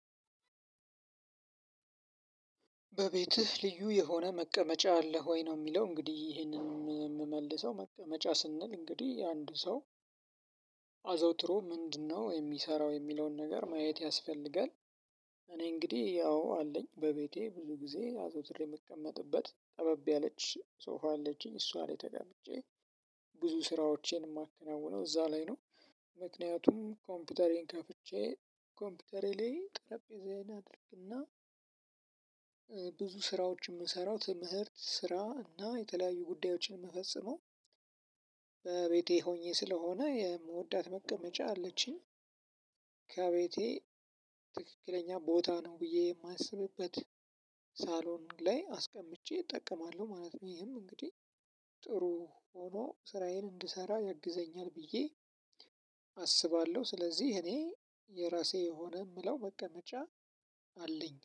በቤትህ ልዩ የሆነ መቀመጫ አለህ ወይ ነው የሚለው እንግዲህ ይሄንን የምመልሰው መቅመጫ ስንል እንግዲህ አንድ ሰው አዘውትሮ ምንድነው የሚሰራው የሚለውን ነገር ማየት ያስፈልጋል? እኔ እንግዲህ ያው አለኝ በቤቴ ብዙ ጊዜ አዘውትሬ የምቀመጥበት ጠበብ ያለች ሶፋ አለችኝ እሷ ላይ ተቀምጬ ብዙ ስራዎቼን የማከናውነው እዛ ላይ ነው። ምክንያቱም ኮምፒውተሬን ከፍቼ ኮምፒውተሬ ላይ ጠረጴዛዬን አድርግና ብዙ ስራዎችን የምሰራው ትምህርት ስራ እና የተለያዩ ጉዳዮችን ምፈጸሙው። በቤቴ ሆኜ ስለሆነ የምወዳት መቀመጫ አለችኝ። ከቤቴ ትክክለኛ ቦታ ነው ብዬ የማስብበት ሳሎኑ ላይ አስቀምጬ እጠቀማለሁ ማለት ነው። ይሄም እንግዲህ ጥሩ ሆኖ ስራዬን እንድሰራ ያግዘኛል ብዬ አስባለሁ። ስለዚህ እኔ የራሴ የሆነ የምለው መቀመጫ አለኝ